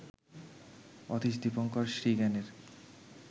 Atish Dipankar শ্রীজ্ঞানের